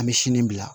An bɛ sini bila